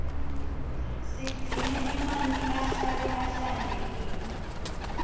sigcine emanti ahlale ahlantekile